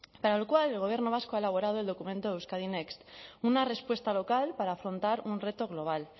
para el cual el gobierno vasco ha elaborado el documento euskadi next una respuesta local para afrontar un reto global